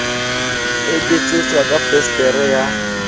e betsetswa ka fensetere a